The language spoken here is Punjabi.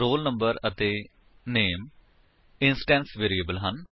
roll number ਅਤੇ ਨਾਮੇ ਇੰਸ੍ਟੇੰਟ ਵੇਰਿਏਬਲ ਹੈ